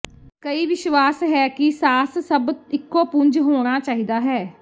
ਕਈ ਵਿਸ਼ਵਾਸ ਹੈ ਕਿ ਸਾਸ ਸਭ ਇਕੋ ਪੁੰਜ ਹੋਣਾ ਚਾਹੀਦਾ ਹੈ